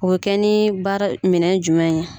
O bɛ kɛ ni baara, minɛ jumɛn ye.